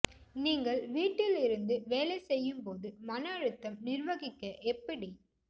நீங்கள் வீட்டில் இருந்து வேலை செய்யும் போது மன அழுத்தம் நிர்வகிக்க எப்படி